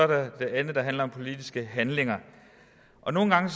der er det andet der handler om politiske handlinger og nogle gange